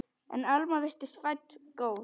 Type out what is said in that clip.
En Alma virtist fædd góð.